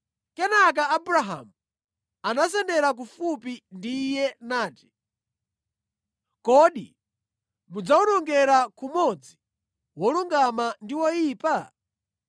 Kenaka Abrahamu anasendera kufupi ndi Iye nati, “Kodi mudzawonongera kumodzi wolungama ndi woyipa?